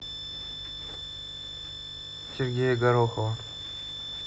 сергея горохова